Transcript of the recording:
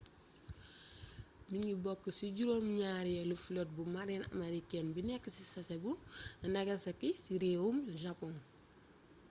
mingi bokk ci juróom ñaareelu flotte bu marine américaine bi nekk ci sasebo nagasaki ci réewum japon